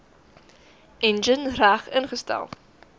enjin reg ingestel